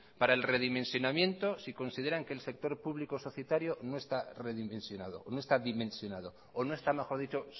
para el redimensionamiento si consideran que el sector público societario no está dimensionado o no está mejor dicho